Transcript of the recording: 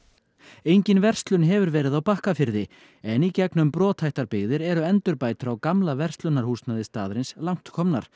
engin verslun hefur verið á Bakkafirði en í gegnum brothættar byggðir eru endurbætur á gamla verslunarhúsnæði staðarins langt komnar